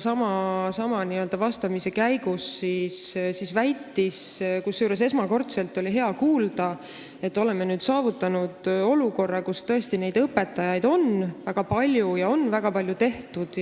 Kusjuures oli hea esmakordselt kuulda, et me oleme nüüd saavutanud olukorra, kus tõesti neid õpetajaid on väga palju ja selle jaoks on väga palju tehtud,